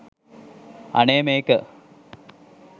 අනේ මේක